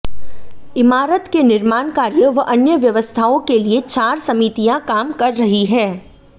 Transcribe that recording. इमारत के निर्माण कार्य व अन्य व्यवस्थाओं के लिए चार समितियां काम कर रही हैं